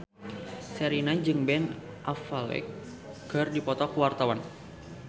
Sherina jeung Ben Affleck keur dipoto ku wartawan